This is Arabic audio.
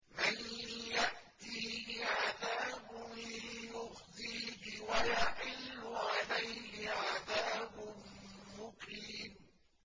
مَن يَأْتِيهِ عَذَابٌ يُخْزِيهِ وَيَحِلُّ عَلَيْهِ عَذَابٌ مُّقِيمٌ